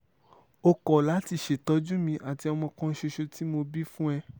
ó kọ́ láti ṣètọ́jú mi àti ọmọ kan ṣoṣo tí mo bí fún ẹ